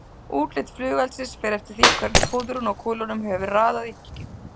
Útlit flugeldsins fer eftir því hvernig púðrinu og kúlunum hefur verið raðað í hylkið.